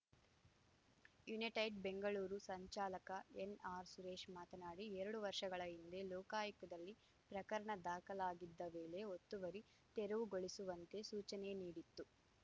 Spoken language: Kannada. ಯುನೈಟೆಡ್‌ ಬೆಂಗಳೂರು ಸಂಚಾಲಕ ಎನ್‌ಆರ್ ಸುರೇಶ್‌ ಮಾತನಾಡಿ ಎರಡು ವರ್ಷಗಳ ಹಿಂದೆ ಲೋಕಾಯುಕ್ತದಲ್ಲಿ ಪ್ರಕರಣ ದಾಖಲಾಗಿದ್ದ ವೇಳೆ ಒತ್ತುವರಿ ತೆರವುಗೊಳಿಸುವಂತೆ ಸೂಚನೆ ನೀಡಿತ್ತು